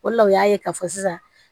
O de la u y'a ye k'a fɔ sisan